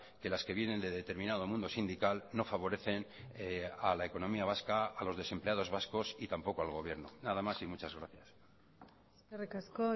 que las que vienen de determinado mundo sindical no favorecen a la economía vasca a los desempleados vascos y tampoco al gobierno nada más y muchas gracias eskerrik asko